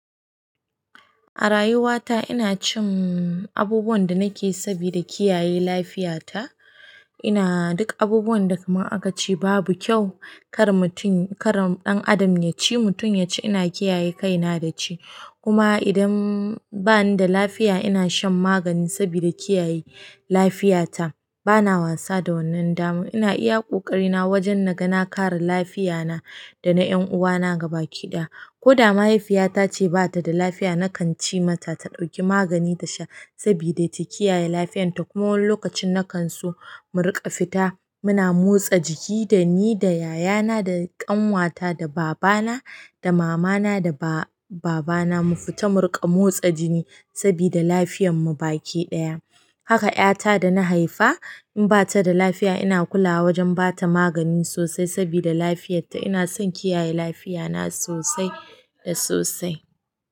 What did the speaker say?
A rayuwa ta ina cin abubuwan da nake sabida kiyaye lafiya ta. Ina duk abubuwan da kamar aka ce babu kyau kar mutum, kar ɗan adam yaci, mutum yaci ina kiyaye kaina da ci. Kuma idan bani da lafiya ina shan magani sabida kiyaye lafiya ta. Bana wasa da wannan dama. Ina iya ƙoƙari na wajen na ga na kare lafiya na da na ƴan uwa na gabaki ɗaya. Ko da mahaifiyata ce ba ta da lafiya na kan ce mata ta ɗauki magani ta sha sabida ta kiyaye lafiyan ta. Kuma wani lokacin na kan so mu riƙa fita muna motsa jiki da ni da yaya na da ƙanwa ta da baba na da mama na da ba-baba na mu fita mu riƙa motsa jini sabida lafiyan mu gaba ƙida. Haka ƴa ta da na haifa in ba ta da lafiya ina kula wajen ba ta magani sosai sabida lafiyarta ina son kiyaye lafiya na sosai da sosai.